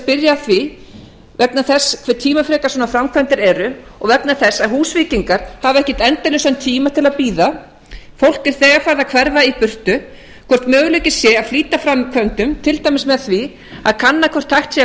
spyrja að því vegna þess hve tímafrekar svona framkvæmdir eru og vegna þess að húsvíkingar hafa ekkert endalausan tíma til að bíða fólk er þegar farið að hverfa í burtu hvort möguleiki sé að flýta framkvæmdum til dæmis með því að kanna hvort hægt sé að